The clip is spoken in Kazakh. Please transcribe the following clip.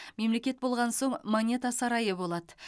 мемлекет болған соң монета сарайы болады